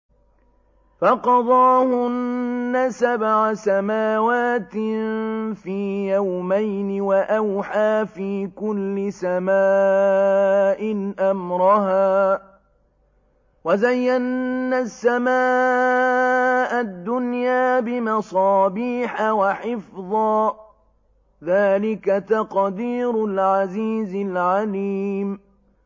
فَقَضَاهُنَّ سَبْعَ سَمَاوَاتٍ فِي يَوْمَيْنِ وَأَوْحَىٰ فِي كُلِّ سَمَاءٍ أَمْرَهَا ۚ وَزَيَّنَّا السَّمَاءَ الدُّنْيَا بِمَصَابِيحَ وَحِفْظًا ۚ ذَٰلِكَ تَقْدِيرُ الْعَزِيزِ الْعَلِيمِ